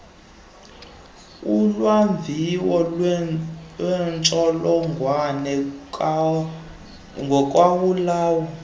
ulwamvila lwentsholongwane kagawulayo